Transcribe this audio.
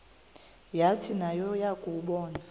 yathi nayo yakuwabona